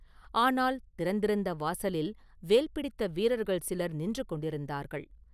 ஆனால் திறந்திருந்த வாசலில் வேல் பிடித்த வீரர்கள் சிலர் நின்று கொண்டிருந்தார்கள்.